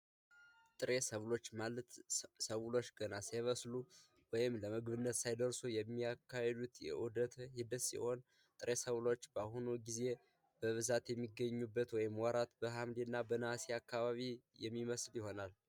ጥሬ ሰብል ማለት ሰብሎች ገና ሳይደርሱ ወይም ለምግብነት ሳይውሉ ያሉበት ኡደተ ህይወት ሲሆን ሰብሎች እንደዚህ አይነት በብዛት የሚገኙበት ወራት በሀምሌና በነሀሴ አካባቢ የሚበስል ይሆናል።